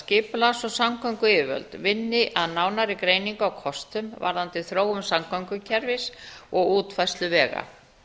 skipulags og samgönguyfirvöld vinni að nánari greiningu á kostum varðandi þróun samgöngukerfis og útfærslu vega